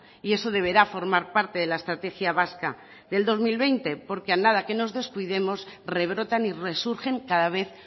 y eso deberá formar parte de la estrategia vasca del dos mil veinte porque a nada que nos descuidemos rebrotan y resurgen cada vez